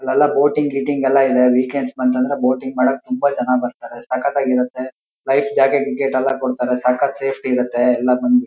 ಅಲ್ಲೆಲ್ಲಾ ಬೋಟಿಂಗ್ ಗೀಟಿಂಗ್ ಎಲ್ಲ ಇದೆ ವೀಕೆಂಡ್ಸ್ ಬಂತಂದ್ರೆ ಬೋಟಿಂಗ್ ಮಾಡೋಕೆ ತುಂಬ ಜನ ಬರ್ತರೆ. ಸಕ್ಕತಾಗಿ ಇರುಥೆ ಲೈಫ್ ಜಾಕೆಟ್ ಗೀಕೆಟ್ ಎಲ್ಲ ಕೊಡತಾರೆ ಸಕ್ಕತ್ ಸೇಫ್ಟಿ ಇರುತ್ತೆ ಎಲ್ಲ--